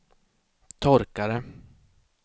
torkare